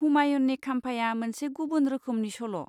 हुमायुननि खाम्फाया मोनसे गुबुन रोखोमनि सल'।